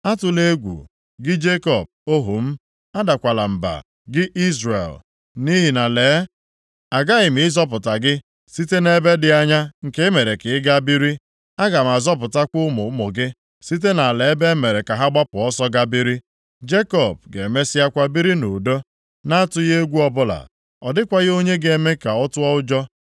“Atụla egwu, gị Jekọb, ohu m. Adakwala mba, gị Izrel. Nʼihi na lee, aghaghị m ịzọpụta gị site nʼebe dị anya nke e mere ka ị gaa biri. Aga m azọpụtakwa ụmụ ụmụ gị site nʼala ebe e mere ka ha gbapụ ọsọ gaa biri. Jekọb ga-emesịakwa biri nʼudo, na-atụghị egwu ọbụla. Ọ dịkwaghị onye ga-eme ka ọ tụọ ụjọ.